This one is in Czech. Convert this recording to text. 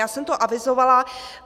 Já jsem to avizovala.